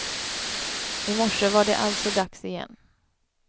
I morse var det alltså dags igen.